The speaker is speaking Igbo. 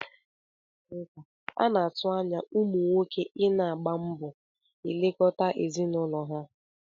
N'Afrika, a na-atụ anya ụmụ nwoke I na-agba mbọ elekọta ezinụlọ ha.